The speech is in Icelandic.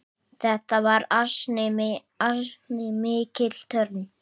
Þetta var ansi mikil törn.